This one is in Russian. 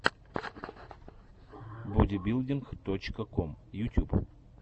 бодибилдинг точка ком ютюб